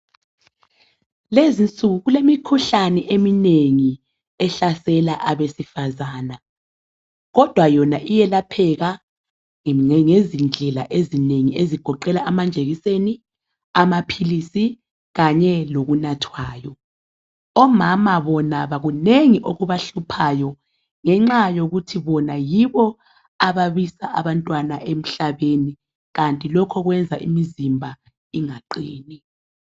Kulezi insuku kulemikhulane eminengi ehlasela abesifazana kodwa yona iyelapheka ngezindlela ezinengi ezigoqela amajekiseni, amaphilisi kanye lokunathwayo. Omama bona kunengi okubahluphayo ngenxa yokuthi bona yibo ababisa abantwana emhlabeni, kanti lokho kuyenza imizimba ingaqini.